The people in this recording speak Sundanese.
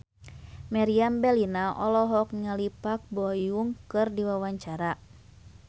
Meriam Bellina olohok ningali Park Bo Yung keur diwawancara